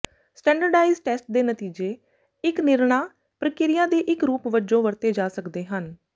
standardised test ਦੇ ਨਤੀਜੇ ਇੱਕ ਨਿਰਣਾ ਪ੍ਰਕਿਰਿਆ ਦੇ ਇੱਕ ਰੂਪ ਵਜੋਂ ਵਰਤੇ ਜਾ ਸਕਦੇ ਹਨ